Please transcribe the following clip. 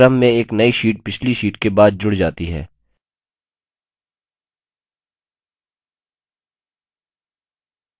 इस पर क्लिक करने से क्रम में एक नई sheet पिछली sheet के बाद जुड़ जाती है